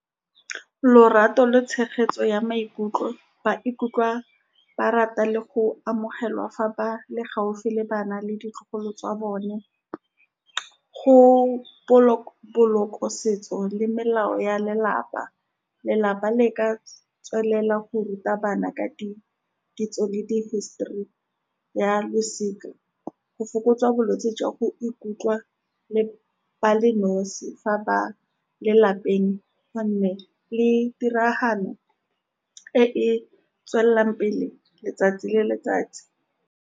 Lorato le tshegetso ya maikutlo, ba ikutlwa ba rata le go amogelwa fa ba le gaufi le bana le ditlogolo tsa bone. Go boloka setso le melao ya lelapa, lelapa le ka tswelela go ruta bana ka di, ditso le di hisitori ya losika. Go fokotswa bolwetse jwa go ikutlwa le ba le nosi fa ba lelapeng, go nne le tiragalo e e tswelelang pele letsatsi le letsatsi.